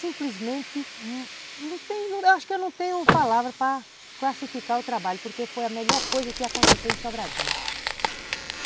Simplesmente, acho que eu não tenho palavras para classificar o trabalho, porque foi a melhor coisa que aconteceu em Sobradinho.